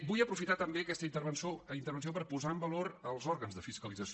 vull aprofitar també aquesta intervenció per posar en valor els òrgans de fiscalització